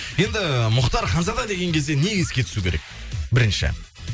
енді мұхтар ханзада деген кезде не еске түсу керек бірінші